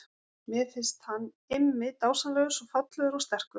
Mér finnst hann Immi dásamlegur, svo fallegur og sterkur.